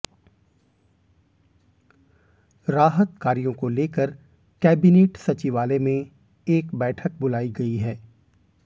राहत कार्यों को लेकर कैबिनेट सचिवालय में एक बैठक बुलाई गई है